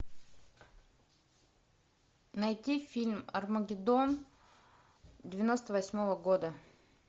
найти фильм армагеддон девяносто восьмого года